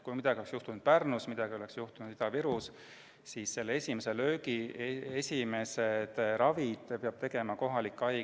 Kui midagi oleks juhtunud Pärnus või Ida-Virus, siis esimese löögi, esimese ravi pidanuks tegema kohalik haigla.